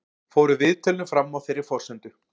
Fóru viðtölin fram á þeirri forsendu